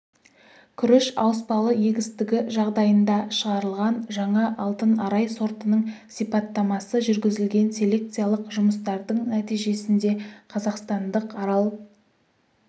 күріш ауыспалы егістігі жағдайында шығарылған жаңа алтын арай сортының сипаттамасы жүргізілген селекциялық жұмыстардың нәтижесінде қазақстандық арал